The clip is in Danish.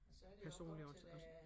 Personligt og og